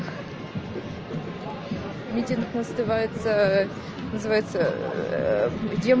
митинг называется ээ называется ээ дем